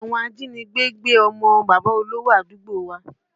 Àwọn ajínigbé gbé ọmọ bàbá olówò àdúgbò wa